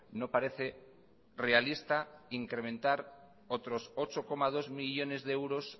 no parece realista incrementar otros ocho coma dos millónes de euros